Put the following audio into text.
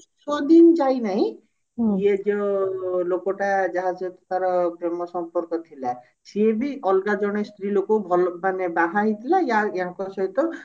ଛଅ ଦିନ ଯାଇନାହିଁ ଇଏ ଯୋ ଲୋକଟା ଯାହା ସହିତ ତାର ପ୍ରେମସମ୍ପର୍କ ଥିଲା ସିଏ ବି ଅଲଗା ଜଣେ ସ୍ତ୍ରୀ ଲୋକ ଭଲ ମାନେ ବାହାହେଇଥିଲା ଆ ଆଙ୍କ ସହିତ